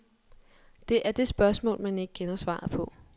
Det er det spørgsmål, man ikke kender svaret på.